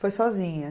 Foi sozinha?